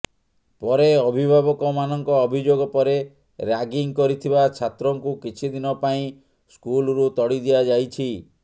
ପରେ ଅଭିଭାବକମାନଙ୍କ ଅଭିଯୋଗ ପରେ ରାଗିଂ କରିଥିବା ଛାତ୍ରଙ୍କୁ କିଛିଦିନ ପାଇଁ ସ୍କୁଲରୁ ତଡ଼ି ଦିଆଯାଇଛି